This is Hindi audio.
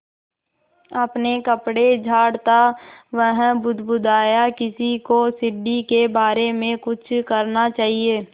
अपने कपड़े झाड़ता वह बुदबुदाया किसी को सीढ़ी के बारे में कुछ करना चाहिए